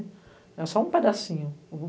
É só um pedacinho.